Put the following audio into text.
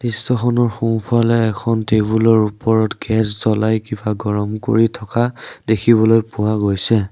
দৃশ্যখনৰ সোঁফালে এখন টেবুল ৰ ওপৰত গেছ জ্বলাই কিবা গৰম কৰি থকা দেখিবলৈ পোৱা গৈছে।